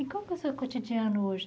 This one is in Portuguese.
E qual que é o seu cotidiano hoje?